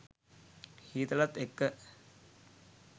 හීතලත් එක්ක